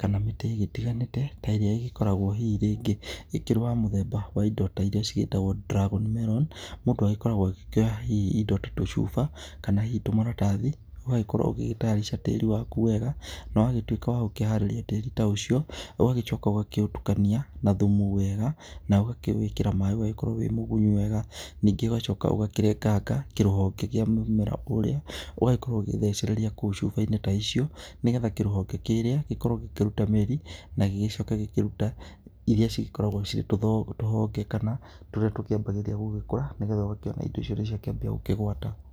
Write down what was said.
kana mĩtĩ ĩgĩtiganĩte, ta ĩrĩa ĩgĩkoragwo hihi rĩngĩ ĩkĩrĩ ya mũthemba wa indo ta iria cigĩtagwo dragon melon mũndũ agĩkoragwo agĩkĩoya hihi indo ta tũcuba, kana hihi tũmaratathi, ũgagĩkorwo ũgĩgĩtayarica tĩri waku wega, na wagĩtuĩka wagũkĩharĩria tĩri ta ũcio, ũgagĩcoka ũgakĩũtukania na thumu wega, na ũgakĩwĩkĩra maaĩ ũgagĩkorwo wĩmũgunyu wega, ningĩ ũgacoka ũgakĩrenganga kĩrũhonge kĩa mũmera ũrĩa, ũgagĩkorwo ũgĩthecereria kũu cuba-inĩ ta icio nĩgetha kĩrũhonge kĩrĩa, gĩkorwo gĩkĩruta mĩri, na gĩgĩcoke gĩkĩrute iria cigĩkoragwo cirĩ tũhonge, kana tũrĩa tũkĩambagĩrĩria gũgĩkũra nĩgetha ũgakĩona indo icio nĩciakĩambia gũkĩgwata.